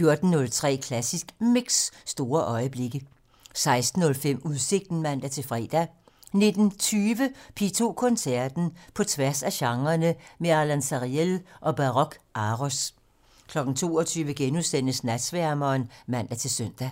(man) 14:03: Klassisk Mix - Store øjeblikke 16:05: Udsigten (man-fre) 19:20: P2 Koncerten - På tværs af genrerne med Alon Sariel og Baroque Aros 22:00: Natsværmeren *(man-søn)